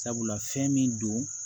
Sabula fɛn min don